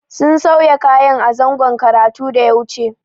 Sun sauya kayan a zangon karatun da ya wuce.